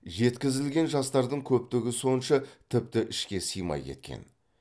жеткізілген жастардың көптігі сонша тіпті ішке сыймай кеткен